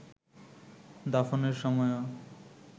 দাফনের সময়েও